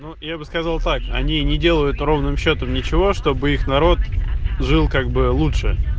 ну я бы сказал так они не делают ровным счётом ничего чтобы их народ жил как бы лучше